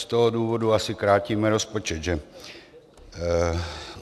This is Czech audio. Z toho důvodu asi krátíme rozpočet, že?